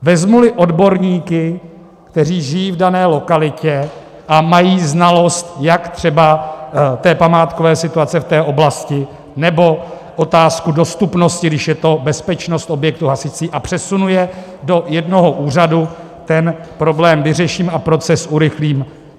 Vezmu-li odborníky, kteří žijí v dané lokalitě a mají znalost, jak třeba památkové situace v té oblasti, nebo otázku dostupnosti, když je to bezpečnost objektu hasicí, a přesunu je do jednoho úřadu, ten problém vyřeším a proces urychlím.